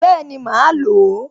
Bẹ́ẹ̀ni, màá lò ó